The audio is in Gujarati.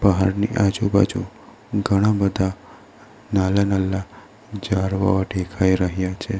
પહાડની આજુબાજુ ઘણા બધા નાલ્લા-નાલ્લા ઝાડવાઓ ડેખાઈ રહ્યા છે.